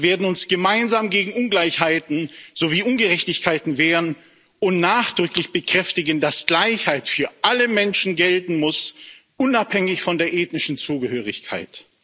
Wir werden uns gemeinsam gegen Ungleichheiten sowie Ungerechtigkeiten wehren und nachdrücklich bekräftigen, dass Gleichheit für alle Menschen gelten muss, unabhängig von der ethnischen Zugehörigkeit.